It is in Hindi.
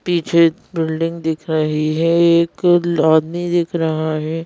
पीछे बिल्डिंग दिख रही है एक आदमी दिख रहा है।